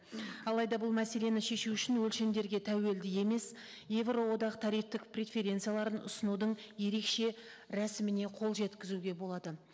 алайда бұл мәселені шешу үшін өлшемдерге тәуелді емес еуроодақ тарифтік преференцияларын ұсынудың ерекше рәсіміне қол жеткізуге болады